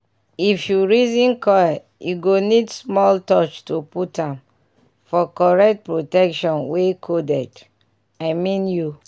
if you reason coil e go need small touch to put am --for correct protection wey coded. i mean u